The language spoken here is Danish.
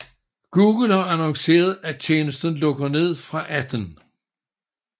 Google har annonceret at tjenesten lukker ned fra 18